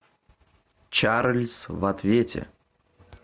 чарльз в ответе